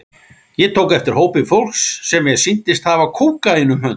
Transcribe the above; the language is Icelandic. Ég tók eftir hópi fólks sem mér sýndist hafa kókaín um hönd.